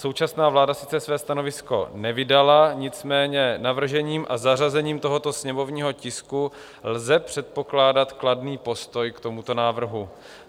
Současná vláda sice své stanovisko nevydala, nicméně navržením a zařazením tohoto sněmovního tisku lze předpokládat kladný postoj k tomuto návrhu.